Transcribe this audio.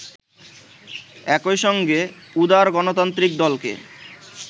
একইসঙ্গে উদার গণতান্ত্রিক দলকে